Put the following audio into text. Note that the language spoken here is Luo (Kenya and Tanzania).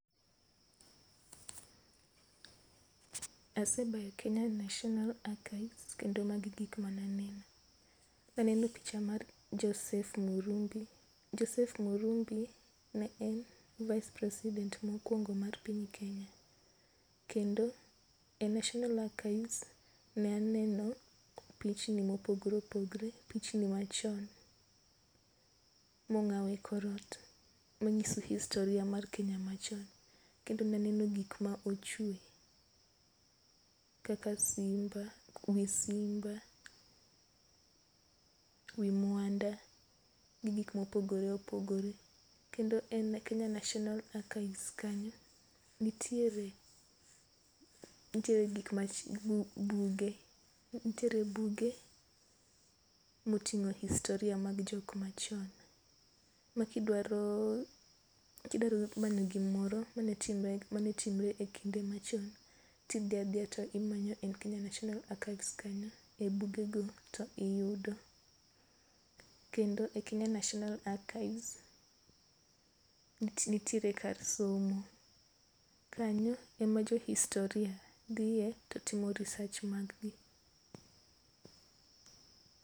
Asedhi e Kenya National Archives kendo ma gi e gik ma ne aneno. ne aneno picha mar Joseph Muirungi ,Joseph Muirungi ne vice president mokuongo mar piny Kenya. Kendo e National Archives ne aneno pichni ma opogore opogore pichni ma chon ma ong'aw e korot ma ng'iso historia mar Kenya ma chon. kendo ne aneno gik ma ochwe kaka simba, wi simba, wi mwanda gi gik ma opogore opogore. Kendo e Kenya National Archives kanyo nitiere, nitiere gik ma buge. Nitiere buge ma otingo historia mar jok ma chon ma ki idwaro ki dwaro mana gi moro ma ne otimore e kinde ma chon to idhi adhiya to imanyo e kenya National Archives kanyo, e buge go to iyudo. Kendo e Kenya National Archives nitie ,nitiere kar somo. Kanyo e ma jo historia dhiye to gi timo research mag gi.